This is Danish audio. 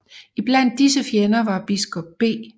Iblandt disse fjender var biskop B